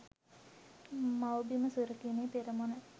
මව්බිම සුරැකීමේ පෙරමුණ